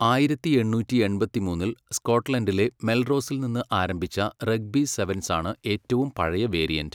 ആയിരത്തി എണ്ണൂറ്റിയെൺപത്തി മൂന്നിൽ സ്കോട്ട്ലൻഡിലെ മെൽറോസിൽ നിന്ന് ആരംഭിച്ച റഗ്ബി സെവൻസ് ആണ് ഏറ്റവും പഴയ വേരിയന്റ്.